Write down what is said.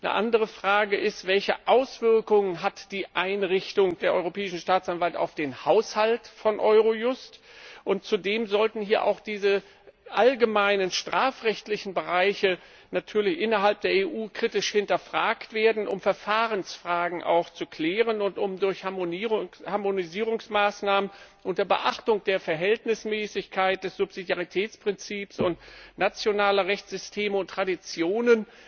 Eine andere Frage ist, welche Auswirkungen die Einrichtung der Europäischen Staatsanwaltschaft auf den Haushalt von Eurojust hat. Und zudem sollten hier auch diese allgemeinen strafrechtlichen Bereiche innerhalb der EU kritisch hinterfragt werden, um Verfahrensfragen zu klären und um durch Harmonisierungsmaßnahmen unter Beachtung der Verhältnismäßigkeit, des Subsidiaritätsprinzips und nationaler Rechtssysteme und Traditionen